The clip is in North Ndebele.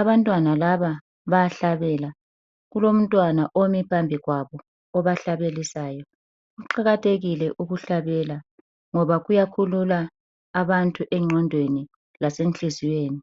Abantwana laba bayahlabela. Kulomntwana omi phambi kwabo obahlabelisayo. Kuqakathekile ukuhlabela ngoba kuyakhulula abantu engqondweni lasenhliziyweni.